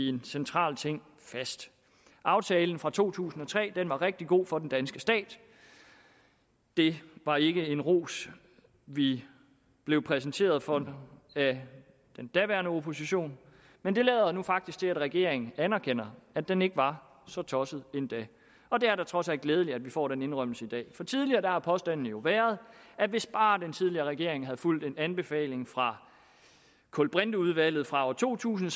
en central ting fast aftalen fra to tusind og tre var rigtig god for den danske stat det var ikke en ros vi blev præsenteret for af den daværende opposition men det lader nu faktisk til at regeringen anerkender at den ikke var så tosset endda og det er da trods alt glædeligt at vi får den indrømmelse i dag for tidligere har påstanden jo været at hvis bare den tidligere regering havde fulgt en anbefaling fra kulbrinteudvalget fra to tusind